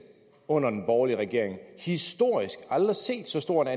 under den borgerlige regering historisk aldrig set så stor